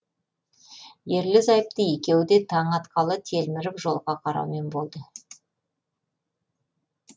ерлі зайыпты екеуі де таң атқалы телміріп жолға қараумен болды